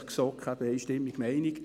Die GSoK ist einstimmig der Meinung: